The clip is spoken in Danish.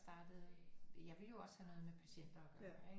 Startede jeg ville jo også have noget med patienter at gøre ikke